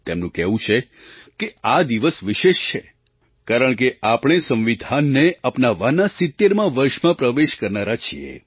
તેમનું કહેવું છે કે આ દિવસ વિશેષ છે કારણકે આપણે સંવિધાનને અપનાવવાના 70મા વર્ષમાં પ્રવેશ કરનારા છીએ